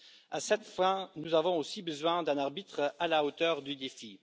à cette fin, nous avons aussi besoin d'un arbitre à la hauteur du défi.